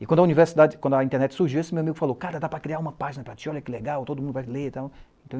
E quando a universidade, quando a internet surgiu, esse meu amigo falou, cara, dá para criar uma página para ti, olha que legal, todo mundo vai ler e tal.